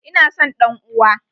Ina son ɗan uwa!